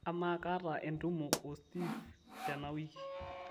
amaa kaata entumo o steve tana wiki